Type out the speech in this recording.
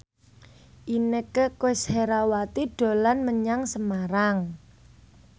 Inneke Koesherawati dolan menyang Semarang